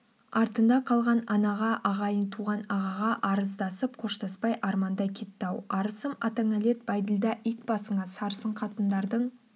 артында қалған анаға ағайын-туған ағаға арыздасып қоштаспай арманда кетті-ау арысым атаңанәлет бәйділда ит басыңа сарысын қатындардың